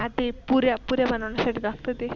ते पुऱ्या, पुऱ्या बनविण्यासाठी लागत ते.